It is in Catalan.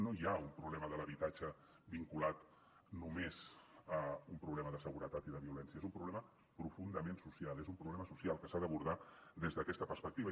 no hi ha un problema de l’habitatge vinculat només a un problema de seguretat i de violència és un problema profundament social és un problema social que s’ha d’abordar des d’aquesta perspectiva